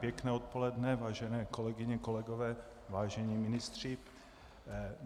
Pěkné odpoledne, vážené kolegyně, kolegové, vážení ministři.